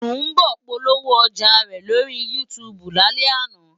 Sùḿbọ̀ polówó ọjà rẹ̀ lórí YouTube lálẹ́ àná.